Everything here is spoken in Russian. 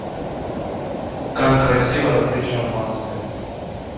как красиво открыть шампанское